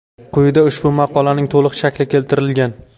Quyida ushbu maqolaning to‘liq shakli keltirilgan.